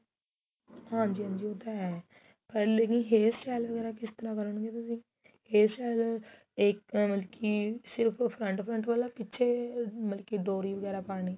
ਹਾਂਜੀ ਹਾਂਜੀ ਉਹ ਤਾਂ ਹੈ ਪਰ ਲੈਕਿਨ hair style ਵਗੈਰਾ ਕਿਸ ਤਰਾਂ ਕਰੋ ਗੇ ਤੁਸੀਂ hair style ਇਹ ਮਤਲਬ ਕੀ ਸਿਰਫ front front ਵਾਲਾ ਪਿੱਛੇ ਮਤਲਬ ਕੀ ਡੋਰੀ ਵਗੈਰਾ ਪਾਣੀ